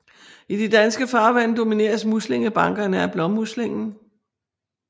I de danske farvande domineres muslingebankerne af blåmuslingen